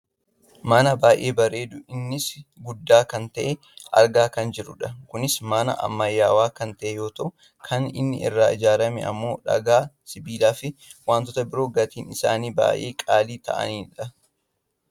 mana baayyee bareedu innis guddaa kan ta'e argaa kan jirrudha. kunis mana ammayyaawaa kan ta'e yoo ta'u kan inni irraa ijaarrame ammoo dhagaa, sibiilaa fi wantoota biroo gatiin isaanii baayyee qaalii ta'anidha.